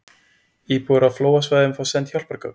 Íbúar á flóðasvæðum fá send hjálpargögn